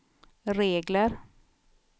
regler